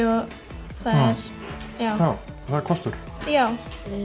og það er kostur já